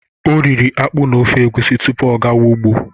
O riri akpụ na ofe egusi tupu ọ gawa ụgbọ.